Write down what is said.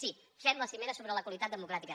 sí fem la cimera sobre la qualitat democràtica